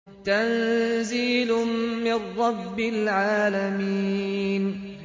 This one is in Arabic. تَنزِيلٌ مِّن رَّبِّ الْعَالَمِينَ